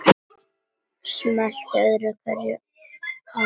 Smellti öðru hverju af.